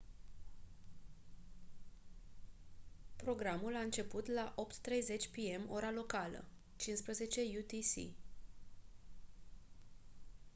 programul a început la 8:30 p.m. ora locală 15:00 utc